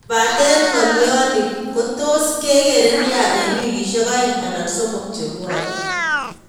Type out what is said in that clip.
Kobaten ngalio ni kotos kekere nia eng wikisiek aeng anan somok chebwone.